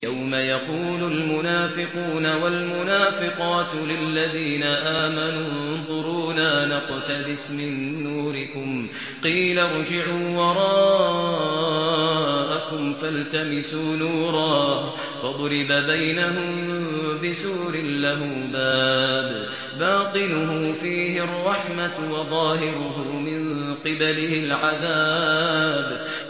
يَوْمَ يَقُولُ الْمُنَافِقُونَ وَالْمُنَافِقَاتُ لِلَّذِينَ آمَنُوا انظُرُونَا نَقْتَبِسْ مِن نُّورِكُمْ قِيلَ ارْجِعُوا وَرَاءَكُمْ فَالْتَمِسُوا نُورًا فَضُرِبَ بَيْنَهُم بِسُورٍ لَّهُ بَابٌ بَاطِنُهُ فِيهِ الرَّحْمَةُ وَظَاهِرُهُ مِن قِبَلِهِ الْعَذَابُ